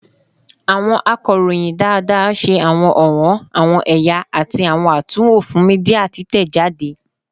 Awọn akọroyin daadaa ṣe awọn ọwọn, awọn ẹya, ati awọn atunwo fun media titẹjade